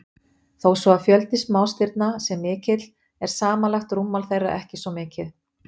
Þó svo að fjöldi smástirna sé mikill er samanlagt rúmmál þeirra ekki svo mikið.